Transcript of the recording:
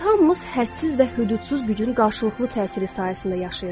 Biz hamımız hədsiz və hüdudsuz gücün qarşılıqlı təsiri sayəsində yaşayırıq.